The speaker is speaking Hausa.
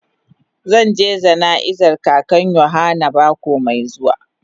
Zan je jana'iza kakan yohana mako mai zuwa.